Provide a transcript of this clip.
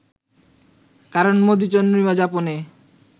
কারণ মধুচন্দ্রিমা যাপনে